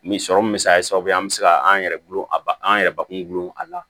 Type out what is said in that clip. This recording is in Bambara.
Nin sɔrɔ min bɛ se ka kɛ sababu ye an bɛ se ka an yɛrɛ gulon a ba an yɛrɛ bakun gulon a la